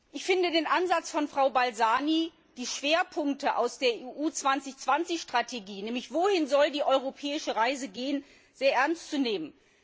Ich finde den Ansatz von Frau Balzani, die Schwerpunkte aus der EU 2020 Strategie nämlich wohin die europäische Reise gehen soll sehr ernst zu nehmen.